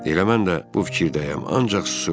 Elə mən də bu fikirdəyəm, ancaq susuram.